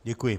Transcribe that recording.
Děkuji.